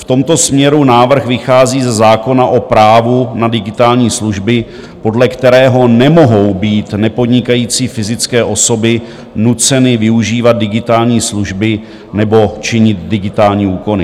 V tomto směru návrh vychází ze zákona o právu na digitální služby, podle kterého nemohou být nepodnikající fyzické osoby nuceny využívat digitální služby nebo činit digitální úkony.